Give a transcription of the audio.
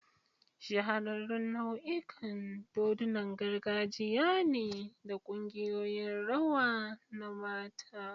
Shahararrun nau'ikan dodunan gargajiya ne da kungiyoyin rawa na mata.